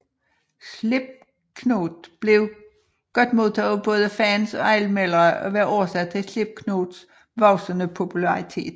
Slipknot blev godt modtaget af både fans og anmeldere og var årsag til Slipknots voksende popularitet